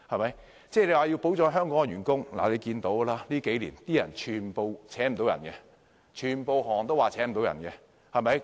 勞工界朋友說要保障香港員工，但大家看到近年很多行業也聘請不到員工。